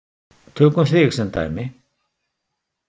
Tökum þig sem dæmi.